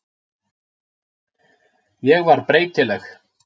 Ég var breytileg.